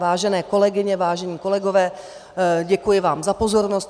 Vážené kolegyně, vážení kolegové, děkuji vám za pozornost.